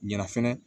Ɲɛna fɛnɛ